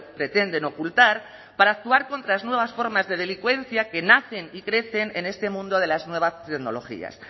pretenden ocultar para actuar contra las nuevas formas de delincuencia que nacen y crecen en este mundo de las nuevas tecnologías